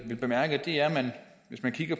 bemærke er at hvis man kigger